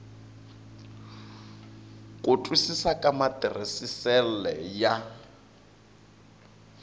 ku twisisa ka matirhisisele ya